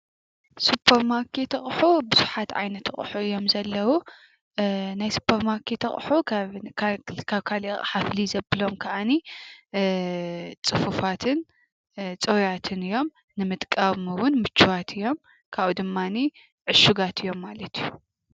ሱፐርማርኬት አቁሑ ብዙሓት ዓይነት አቁሑ እዮም ዘለው፤ ናይ ሱፐርማርኬት አቁሑ ካብ ካሊእ አቕሓ ፍልይ ዘብሎም ከኣኒ ፅፉፋትን ጽሩያትን እዮም፤ ንምጥቃም ውን ምቹዋት እዮም ፤ካብኡ ድማኒ ዕሹጋት እዮም ማለት እዩ።